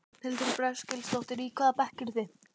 Þórhildur Þorkelsdóttir: Í hvaða bekk eruð þið?